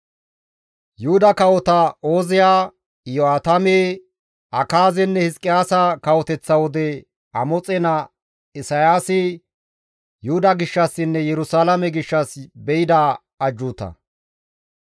Yuhuda kawota Ooziya, Iyo7aatame, Akaazenne Hizqiyaasa kawoteththa wode Amoxe naa Isayaasi Yuhuda gishshassinne Yerusalaame gishshas be7ida ajjuuta.